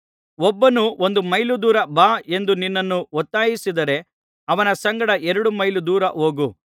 ಒಬ್ಬನು ಒಂದು ಮೈಲು ದೂರ ಬಾ ಎಂದು ನಿನ್ನನ್ನು ಒತ್ತಾಯಿಸಿದರೆ ಅವನ ಸಂಗಡ ಎರಡು ಮೈಲು ದೂರ ಹೋಗು